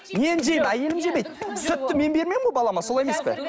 мен жеймін әйелім жемейді сүтті мен бермеймін ғой балама солай емес пе